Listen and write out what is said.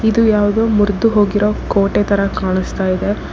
ಇದು ಯಾವುದೋ ಮುರಿದು ಹೋಗಿರೋ ಕೋಟೆ ತರ ಕಾಣುಸ್ತಾ ಇದೆ.